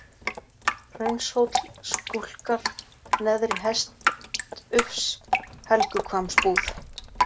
Hraunshóll, Skúlkar, Neðri-Hestufs, Helguhvammsbúð